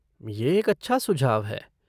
ये एक अच्छा सुझाव है।